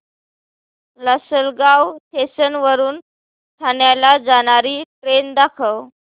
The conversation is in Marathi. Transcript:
लासलगाव स्टेशन वरून ठाण्याला जाणारी ट्रेन दाखव